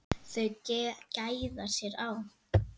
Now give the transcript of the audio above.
Þau gæða sér á